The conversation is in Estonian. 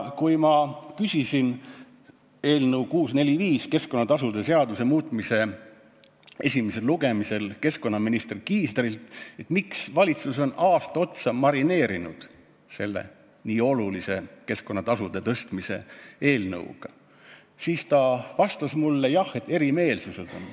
Kui ma küsisin eelnõu 645, keskkonnatasude seaduse muutmise seaduse eelnõu esimesel lugemisel keskkonnaminister Kiislerilt, miks valitsus on aasta otsa seda nii olulist keskkonnatasude tõstmise eelnõu marineerinud, siis ta vastas mulle, et jah, erimeelsusi on.